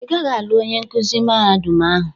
"Ị gaghị alụ onye nkuzi mahadum ahụ"